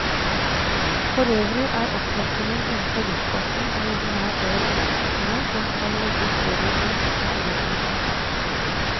Forøvrig er opptrappingen innenfor luftfarten en ordinær del av opptrappingen som skal legge større press på arbeidsgiverne.